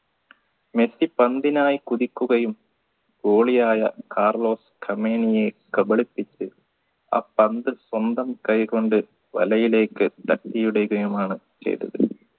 Messi പന്തിനായി കുതിക്കുകയും goalie യായ കാർലോസ് ക്രമേനിയെ കബളിപ്പിച്ച് ആ പന്ത് സ്വന്തം കൈകൊണ്ട് വലയിലേക്ക് തട്ടിയുടെയും ആണ് ചെയ്തത്